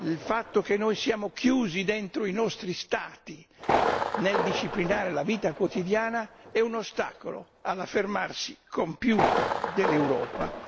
Il fatto che noi siamo chiusi dentro i nostri Stati nel disciplinare la vita quotidiana è un ostacolo all'affermarsi compiuto dell'Europa.